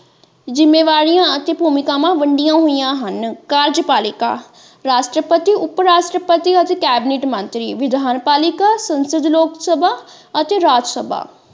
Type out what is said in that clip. ਜਿੰਮੇਵਾਰੀਆਂ ਅਤੇ ਭੂਮੀਕਾਵਾਂ ਵੰਡੀਆਂ ਹੋਇਆ ਹਨ ਕਾਰਜਪਾਲਿਕਾ ਰਾਸ਼ਟਰਪਤੀ ਉਪਰਾਸ਼ਟਰਪਤੀ ਅਤੇ ਕੈਬੀਨੇਟ ਮੰਤਰੀ ਵਿਧਾਨਪਾਲਿਕਾ ਸੰਸਦ ਲੋਕਸਭਾ ਅਤੇ ਰਾਜਸਭਾ।